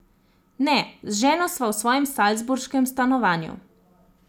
Ne, z ženo sva v svojem salzburškem stanovanju.